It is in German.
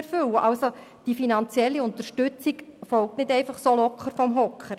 Also erfolgt die finanzielle Unterstützung nicht einfach «locker vom Hocker».